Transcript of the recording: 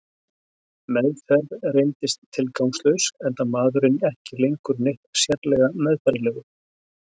Meðferð reyndist tilgangslaus, enda maðurinn ekki lengur neitt sérlega meðfærilegur.